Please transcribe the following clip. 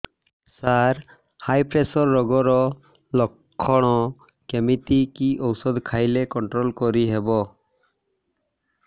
ସାର high pressure ରୋଗର ଲଖଣ କେମିତି କି ଓଷଧ ଖାଇଲେ କଂଟ୍ରୋଲ କରିହେବ